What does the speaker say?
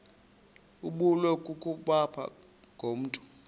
ibulewe kukopha ngokomntu